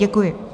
Děkuji.